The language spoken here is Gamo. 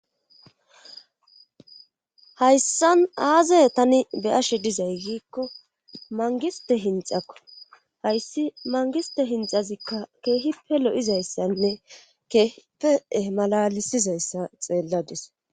hayssan aazay tani beyashe dizay giikko mangiste hinxakko hayssi mangiste hinxazikka keehi pe lo7izayssanne keehipee malalisizayssa xeelladis